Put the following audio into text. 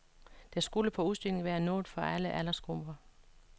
Der skulle på udstillingen være noget for alle aldersgrupper.